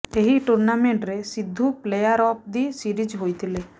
ଏହି ଟୁର୍ଣ୍ଣାମେଣ୍ଟରେ Sidhu player of the series ହୋଇଥିଲେ